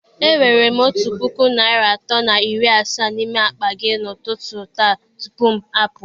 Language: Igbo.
E were m otu puku naịra atọ na iri asaa n'ime akpa gị n'ụtụtụ taa tupu m apụọ.